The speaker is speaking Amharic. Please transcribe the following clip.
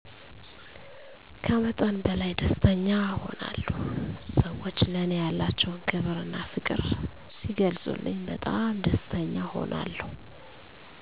ከመጠን በላይ ደስተኛ እሆናለሁ ሰወቹ ለኔ ያላቸዉን ክብር እና ፍቅር ስለገለፀልኝ በጣም ደስተኛ እሆናለሁ።